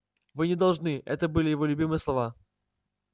вы не должны это были его любимые слова